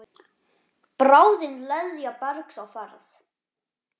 Bráðin leðja bergs á ferð.